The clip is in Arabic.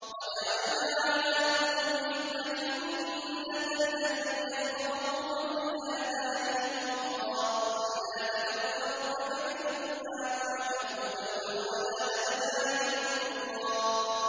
وَجَعَلْنَا عَلَىٰ قُلُوبِهِمْ أَكِنَّةً أَن يَفْقَهُوهُ وَفِي آذَانِهِمْ وَقْرًا ۚ وَإِذَا ذَكَرْتَ رَبَّكَ فِي الْقُرْآنِ وَحْدَهُ وَلَّوْا عَلَىٰ أَدْبَارِهِمْ نُفُورًا